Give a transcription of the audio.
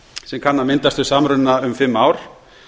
sem kann að myndast við samruna um fimm ár